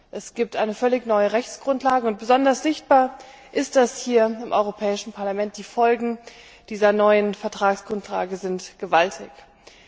Es gibt eine völlig neue Rechtsgrundlage und besonders sichtbar ist, dass hier im Europäischen Parlament die Folgen dieser neuen Vertragsgrundlage gewaltig sind.